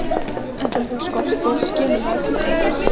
En þegar það skortir skilur maður tilgang þess.